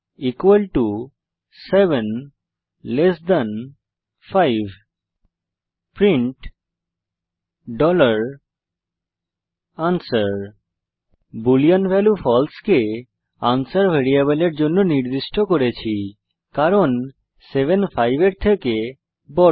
answer 75 print answer boolean value false কে answer ভ্যারিয়েবলের জন্য নির্দিষ্ট করেছি কারণ 7 5 এর থেকে বড়